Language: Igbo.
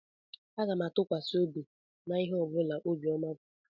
Aga m atụkwasị obi n'ihe ọ bụla Obiọma kwuru.